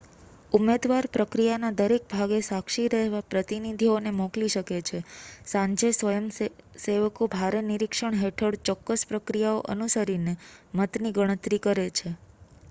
ઉમેદવાર પ્રક્રિયાના દરેક ભાગે સાક્ષી રહેવા પ્રતિનિધિઓને મોકલી શકે છે સાંજે સ્વયંસેવકો ભારે નિરક્ષણ હેઠળ ચોક્કસ પ્રક્રિયાઓ અનુસરીને મતની ગણતરી કરે છે